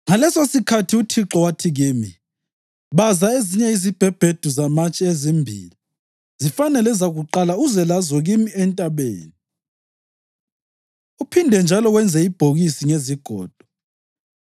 “Ngalesosikhathi uThixo wathi kimi, ‘Baza ezinye izibhebhedu zamatshe ezimbili zifanane lezakuqala uze lazo kimi entabeni. Uphinde njalo wenze ibhokisi ngezigodo.